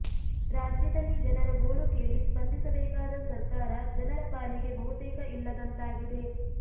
ರಾಜ್ಯದಲ್ಲಿ ಜನರ ಗೋಳು ಕೇಳಿ ಸ್ಪಂದಿಸಬೇಕಾದ ಸಕರ್ಾರ ಜನರ ಪಾಲಿಗೆ ಬಹುತೇಕ ಇಲ್ಲದಂತಾಗಿದೆ